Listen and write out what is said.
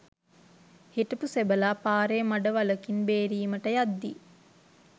හිටපු සෙබළා පාරේ මඩ වළකින් බේරීමට යද්දී